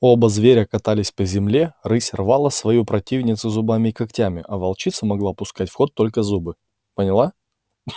оба зверя катались по земле рысь рвала свою противницу зубами и когтями а волчица могла пускать в ход только зубы поняла